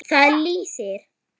Þar lýsir